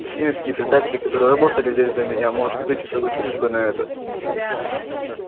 сивеннские предатели которые работали здесь до меня может быть и согласились бы на это